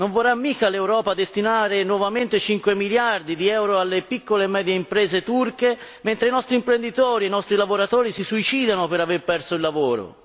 Non vorrà mica l'Europa destinare nuovamente 5 miliardi di euro alle piccole e medie imprese turche, mentre i nostri imprenditori, i nostri lavoratori si suicidano per aver perso il lavoro.